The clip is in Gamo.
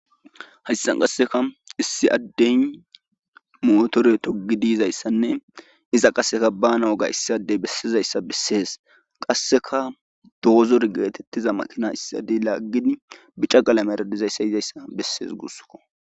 Haysxan qasseka issi addeyn motore togi diizayssanne iza qasseka banaw gayssadey bessizayssa bessees qasseka doozor geetettiza maqina issadi laaggid bica qala meradizayssa yizayssa bessees gussko